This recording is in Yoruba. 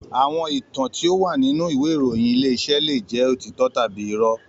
Àwọn ìtàn tí ó wà nínú ìwé ìròyìn Ilé-iṣẹ́ leè jẹ́ òtítọ́ tàbí irọ́